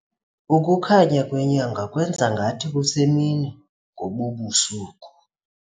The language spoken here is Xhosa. Ukukhanya kwenyanga kwenze ngathi kusemini ngobu busuku.